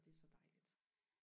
og det er så dejligt